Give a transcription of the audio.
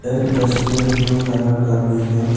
Dustbin blue colour का भी है।